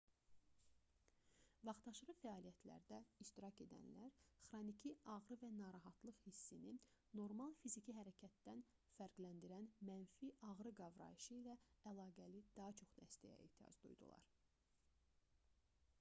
vaxtaşırı fəaliyyətlərdə iştirak edənlər xroniki ağrı və narahatlıq hissini normal fiziki hərəkətdən fərqləndirən mənfi ağrı qavrayışı ilə əlaqəli daha çox dəstəyə ehtiyac duydular